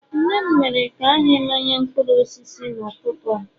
nne m mere ka anyị mmanya mkpụrụ osisi n'ụtụtụ a